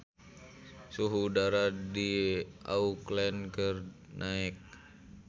Suhu udara di Auckland keur naek